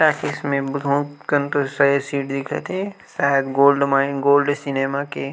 talkies में बहुत कन दूसाए सीट दिखत हे शायद गोल्ड माइन गोल्ड सिनेमा के--